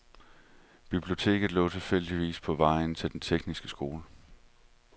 Biblioteket lå tilfældigvis på vejen til den tekniske skole.